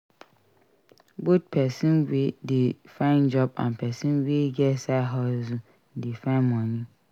Both persin we de find job and person wey get side hustle de find moni